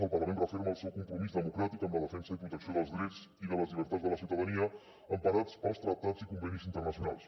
el parlament referma el seu compromís democràtic amb la defensa i protecció dels drets i de les llibertats de la ciutadania emparats pels tractats i convenis internacionals